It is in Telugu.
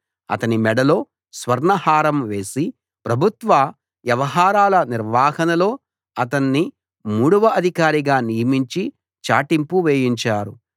అతని మెడలో స్వర్ణ హారం వేసి ప్రభుత్వ వ్యవహారాల నిర్వహణలో అతణ్ణి మూడవ అధికారిగా నియమించి చాటింపు వేయించారు